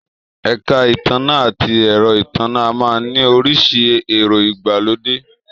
Èka ìtànná ati ero ìtànná a máa ni oríṣi èro ìgbàlódé